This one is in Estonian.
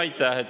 Aitäh!